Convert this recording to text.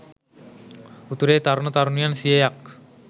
උතුරේ තරුණ තරුණියන් සියයක්